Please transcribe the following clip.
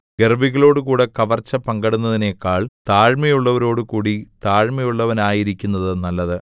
ഗർവ്വികളോടുകൂടെ കവർച്ച പങ്കിടുന്നതിനെക്കാൾ താഴ്മയുള്ളവരോടുകൂടി താഴ്മയുള്ളവനായിരിക്കുന്നത് നല്ലത്